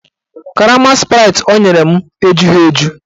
Karama spraịtị ọ nyere m ejughi eju